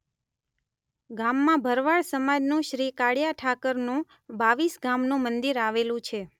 ગામમાં ભરવાડ સમાજનું શ્રી કાળીયા ઠાકરનું બાવીસગામનું મંદિર આવેલું છે.